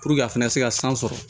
a fana se ka san sɔrɔ